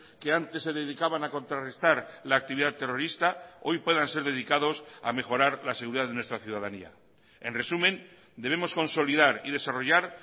que antes se dedicaban a contrarrestar la actividad terrorista hoy puedan ser dedicados a mejorar la seguridad de nuestra ciudadanía en resumen debemos consolidar y desarrollar